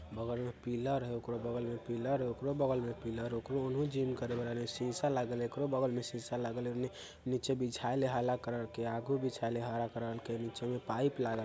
बगल में पिलर हउ ओकरो बगल में पिलर हउ ओकरो बगल में पिलर हउ ओकरो ओनहु जिम करे वाला शीशा लागल हउ एकरो बगल में शीशा लागल हउ उने नीचे बिछाएल हला कलर के आगो बिछाएल है हरा कलर के नीचे में पाइप लागल।